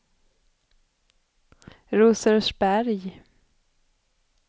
Rosersberg